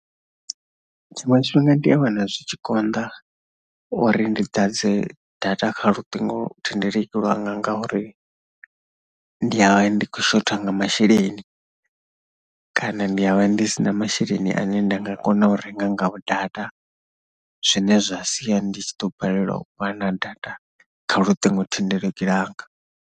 Tshiṅwe tshifhinga ndi a wana zwi tshi konḓa uri ndi ḓadze data kha luṱingothendeleki lwanga ngauri ndi ya vha ndi khou shotha nga masheleni kana ndi ya vha ndi si na masheleni ane nda nga kona u renga ngao data. Zwine zwa sia ndi tshi ḓo balelwa u vha na data kha luṱingothendeleki lwanga.